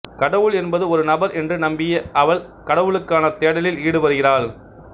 கடவுள் என்பது ஒரு நபர் என்று நம்பிய அவள் கடவுளுக்கான தேடலில் ஈடுபடுகிறாள்